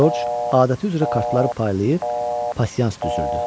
Corc adəti üzrə kartları paylayıb pasians düzəltdirdi.